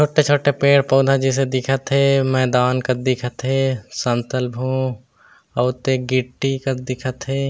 छोटे-छोटे पेड़-पौधा जईसे दिखत हे मैदान कस दिखत हे समतल भू अउ ते गिट्टी कस दिखत हे ।